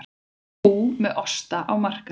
Kú með osta á markað